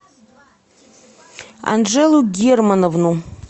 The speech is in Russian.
анжелу германовну